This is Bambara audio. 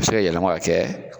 A bi se ka yɛlɛma ka kɛ